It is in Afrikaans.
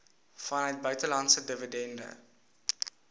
vanuit buitelandse dividende